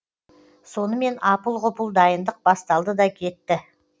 сонымен апыл ғұпыл дайындық басталды да кетті